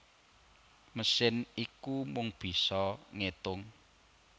Mesin iku mung bisa ngétung